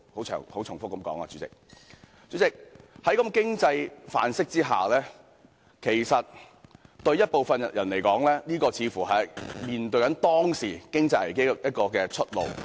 主席，在這種經濟範式下，其實對部分人來說，這似乎是面對當時經濟危機的出路。